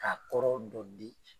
K'a kɔrɔ dɔ di.